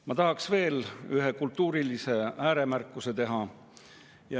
Ma tahaks teha veel ühe kultuurilise ääremärkuse.